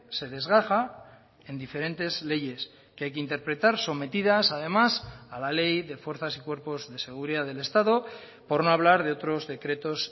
se desgaja en diferentes leyes que hay que interpretar sometidas además a la ley de fuerzas y cuerpos de seguridad del estado por no hablar de otros decretos